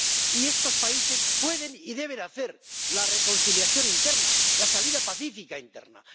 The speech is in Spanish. Y estos países pueden y deben hacer la reconciliación interna, la salida pacífica interna.